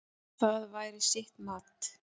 Það væri sitt mat.